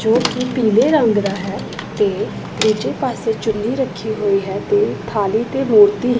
ਜੋ ਕੀ ਪੀਲੇ ਰੰਗ ਦਾ ਹੈ ਤੇ ਦੁੱਜੇ ਪਾੱਸੇ ਚੁੰਨੀ ਰੱਖੀ ਹੋਈ ਹੈ ਤੇ ਥਾਲੀ ਤੇ ਮੂਰਤੀ--